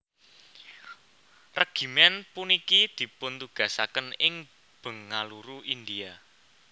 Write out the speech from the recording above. Regimen puniki dipuntugasaken ing Bengaluru India